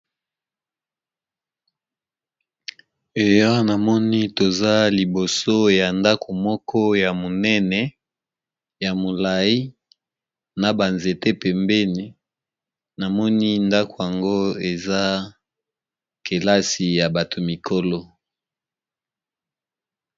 Eya namoni toza liboso ya ndako moko ya monene ya molayi na ba nzete pembeni namoni ndako yango eza kelasi ya bato mikolo